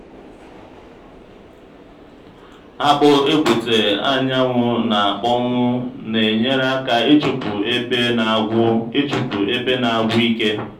akpụ egbute anwụ na-akpọnwụ na-enyere aka ịchụpụ ebe na-agwụ ịchụpụ ebe na-agwụ ike.